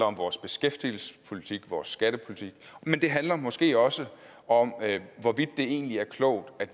om vores beskæftigelsespolitik og vores skattepolitik men det handler måske også om hvorvidt det egentlig er klogt at